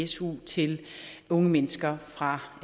su til unge mennesker fra